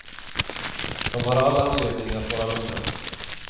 De har all anledning att vara lugna.